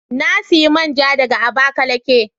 Na siya man ja daga Abakaliki.